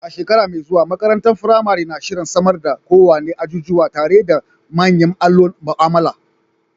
A shekara mai zuwa, makarantar firamare na shirin samar da kowane ajujuwa tare da manyan allon mu'amala.